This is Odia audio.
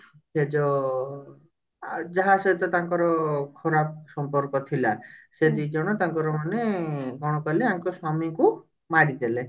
ସେ ଯୋ ଆ ଯାହା ସହିତ ତାଙ୍କର ଖରାପ ସମ୍ପର୍କ ଥିଲା ସେ ଦିଜଣ ତାଙ୍କର ମାନେ କଣ କହିଲେ ଆଙ୍କ ସ୍ଵାମୀଙ୍କୁ ମାରିଦେଲେ